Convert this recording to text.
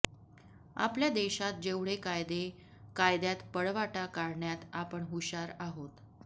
आपल्या देशात जेवढे कायदे कायद्यात पळवाटा काढण्यात आपण हुशार आहोत